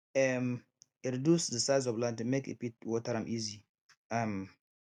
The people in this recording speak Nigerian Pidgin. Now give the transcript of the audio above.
um e reduce the size of land make e fit water am easy um